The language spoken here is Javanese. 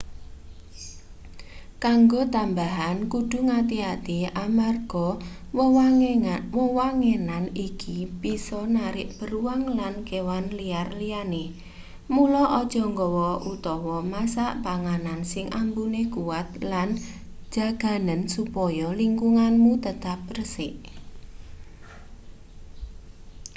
kanggo tamabahan kudu ngati-ati amarga wewangenan iki bisa narik beruang lan kewan liar liyane mula aja gawa utawa masak panganan sing ambune kuwat lan jaganen supaya lingkunganmu tetep resik